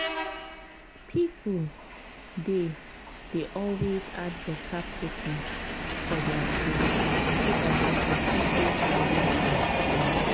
people dey dey always add better protein for their food so dat dem go fit dey healthy and strong.